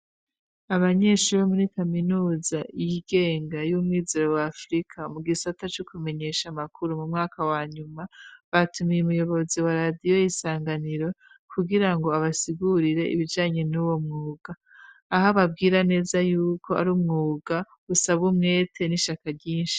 Abanyeshuri bo muri kaminuza y'igenga y'umwizero wa afirika mu gisata co kumenyesha makuru mu mwaka wa nyuma. Batumiye umuyobozi wa radiyo 'isanganiro kugira ngo abasigurire ibijanyi nuwo mwuga aho ababwira neza y'uko ari umwuga usaba umwete n'ishaka ryinshi.